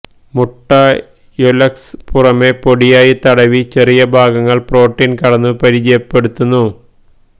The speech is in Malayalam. മുട്ട യൊല്ക്സ് പുറമേ പൊടിയായി തടവി ചെറിയ ഭാഗങ്ങൾ പ്രോട്ടീൻ കടന്നു പരിചയപ്പെടുത്തുന്നു